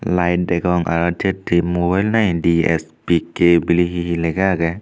lite degong araw jetti mubelnai DSP kep bili hi hi lega agey.